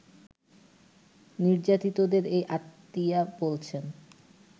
নির্যাতিতদের এই আত্মীয়া বলছেন